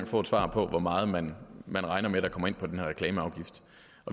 få et svar på hvor meget man man regner med kommer ind på den her reklameafgift